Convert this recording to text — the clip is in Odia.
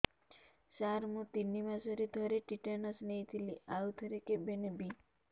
ସାର ମୁଁ ତିନି ମାସରେ ଥରେ ଟିଟାନସ ନେଇଥିଲି ଆଉ ଥରେ କେବେ ନେବି